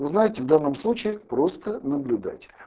узнать в данном случае просто наблюдать